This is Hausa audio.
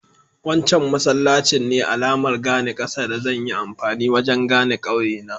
Wancan masallacin ne alamar gane ƙasa da zan yi amfani wajen gane ƙauye na.